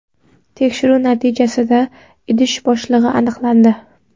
Tekshiruv natijasida idish bo‘shligi aniqlandi.